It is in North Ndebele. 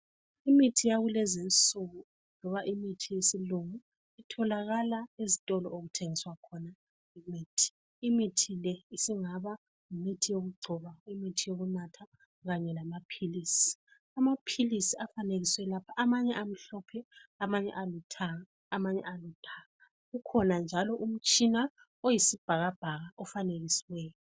Imithi yakulezinsuku loba imithi yesilungu itholakala ezitolo okuthengiswa khona imithi. Imithi le isingaba yimithi yokugcoba imithi yokunatha kanye lamaphilisi. Amaphilisi afanekiswe lapha amanye amhlophe, amanye alithanga, amanye aludaka. Kukhona njalo umtshina oyisibhakabhaka ofanekisiweyo.